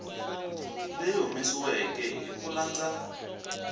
leyi humesiweke hi ku landza